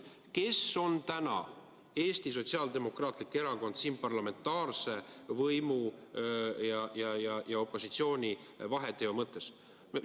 Kes on täna Eesti Sotsiaaldemokraatlik Erakond siin parlamentaarse võimu ja opositsiooni vaheteo mõttes?